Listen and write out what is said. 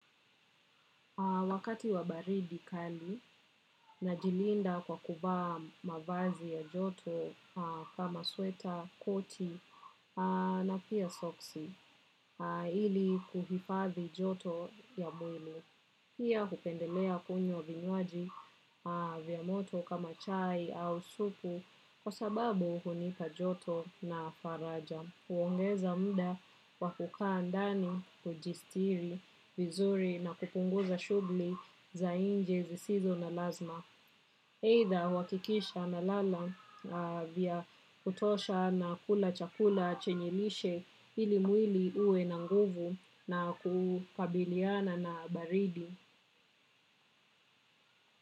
Wakati wa baridi kali najilinda kwa kuvaa mavazi ya joto kama sweta, koti na pia soksi ili kuhifadhi joto ya mwili. Pia hupendelea kunywa vinyoaji vya moto kama chai au supu kwa sababu hunipa joto na faraja. Huongeza muda wa kukaa ndani kujistiri vizuri na kupunguza shughuli za nje zisizo na lazima. Aidha huhakikisha napala vya kutosha na kula chakula chenye lishe ili mwili uwe na nguvu na kukabiliana na baridi.